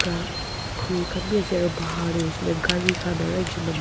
gra phul khan bi ase aro bahar tey huishe koile gari khan aru ekju manu--